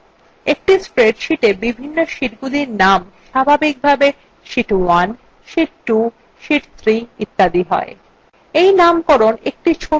একটি spreadsheeta বিভিন্ন শীটগুলির named স্বাভাবিকভাবে sheet 1 sheet 2 sheet 3 ইত্যাদি হয়